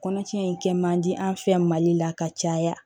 Kɔnɔtiɲɛ in kɛ man di an fɛ mali la ka caya